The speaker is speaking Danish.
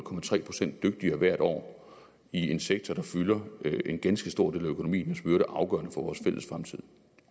procent dygtigere hvert år i en sektor der fylder en ganske stor del af økonomien og som